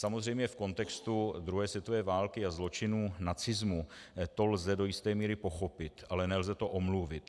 Samozřejmě v kontextu druhé světové války a zločinů nacismu to lze do jisté míry pochopit, ale nelze to omluvit.